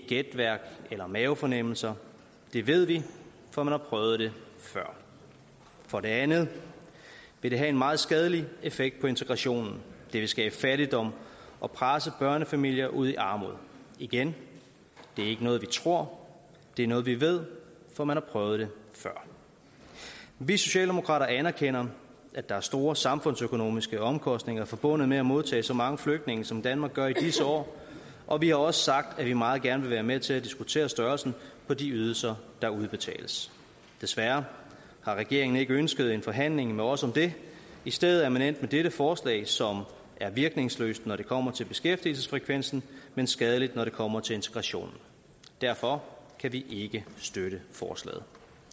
gætværk eller mavefornemmelser det ved vi for man har prøvet det før for det andet vil det have en meget skadelig effekt på integrationen det vil skabe fattigdom og presse børnefamilier ud i armod igen det er ikke noget vi tror det er noget vi ved for man har prøvet det før vi socialdemokrater anerkender at der er store samfundsøkonomiske omkostninger forbundet med at modtage så mange flygtninge som danmark gør i disse år og vi har også sagt at vi meget gerne vil være med til at diskutere størrelsen på de ydelser der udbetales desværre har regeringen ikke ønsket en forhandling med os om det i stedet er man endt med dette forslag som er virkningsløst når det kommer til beskæftigelsesfrekvensen men skadeligt når det kommer til integrationen derfor kan vi ikke støtte forslaget